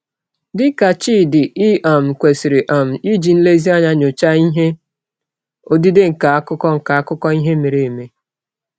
Dị ka Chidi, i um kwesịrị um iji nlezianya nyochaa ihe odide nke akụkọ nke akụkọ ihe mere eme.